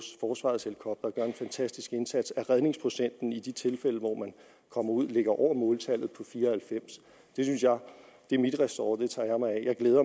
forsvarets helikoptere gør en fantastisk indsats og at redningsprocenten i de tilfælde hvor man kommer ud ligger over måltallet på fire og halvfems det er mit ressort det tager jeg mig af jeg glæder